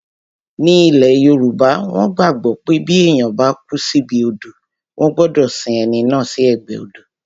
Ní ilẹ̀ yoòbá, wọ́n gbàgbọ́ pé bí èèyàn bá kú síbi odò wọ́n gbọdọ̀ sin ẹni náà sí ẹ̀gbẹ́ odò